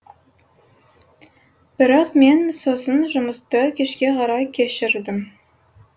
бірақ мен сосын жұмысты кешке қарай кешірдім